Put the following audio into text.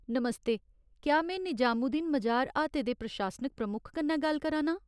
नमस्ते, क्या में निजामुद्दीन मजार हाते दे प्रशासनिक प्रमुक्ख कन्नै गल्ल करा नां ?